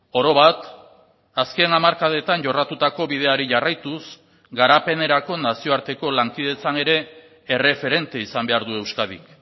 orobat azken hamarkadetan jorratutako bideari jarraituz garapenerako nazioarteko lankidetzan ere erreferente izan behar du euskadik